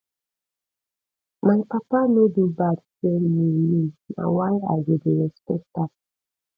my papa no do bad train me me na why i go dey respect am